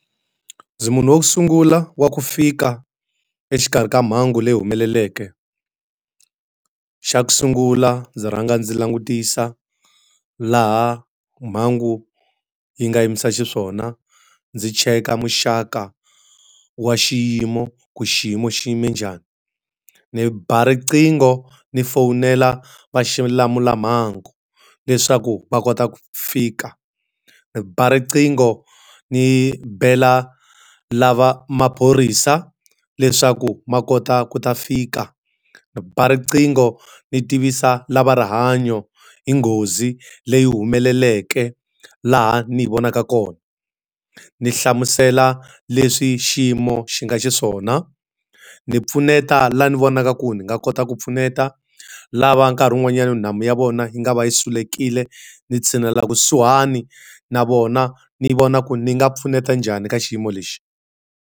Ndzi munhu wo sungula wa ku fika exikarhi ka mhangu leyi humeleleke. Xa ku sungula ndzi rhanga ndzi langutisa laha mhangu yi nga yimisa xiswona, ndzi cheka muxaka wa xiyimo ku xiyimo xiyime njhani. Ni ba riqingho ni fowunela vaxilamulamhangu leswaku va kota ku fika. Ni ba riqingho ni bela lava maphorisa leswaku ma kota ku ta fika. Ni ba riqingho ni tivisa lava rihanyo hi nghozi leyi humeleleke laha ni hi vonaka kona, ni hlamusela leswi xiyimo xi nga xiswona. Ni pfuneta laha ni vonaka ku ni nga kota ku pfuneta. Lava nkarhi wun'wanyana nhamu ya vona yi nga va yi sulekile, ni tshinela kusuhani na vona, ni vona ku ni nga pfuneta njhani ka xiyimo lexi.